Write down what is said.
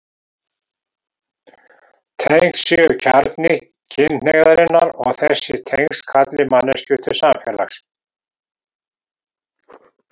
Tengsl séu kjarni kynhneigðarinnar og þessi tengsl kalli manneskjur til samfélags.